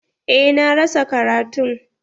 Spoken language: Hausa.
Eh, na rasa karatun.